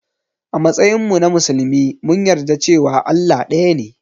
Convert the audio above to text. A matsayinmu na musulmi mun yarda cewa Allah ɗaya ne.